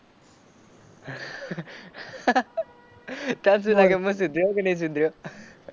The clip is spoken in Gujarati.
તને શું લાગે હું સુધર્યો કે નહીં સુધર્યો?